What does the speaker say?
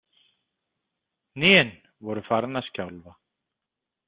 Hnén voru farin að skjálfa.